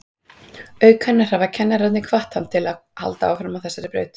Auk hennar hafa kennararnir hvatt hann til að halda áfram á þessari braut.